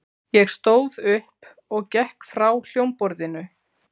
Ég stóð upp og gekk frá hljómborðinu.